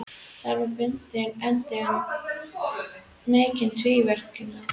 Þar með bundinn endi á mikinn tvíverknað.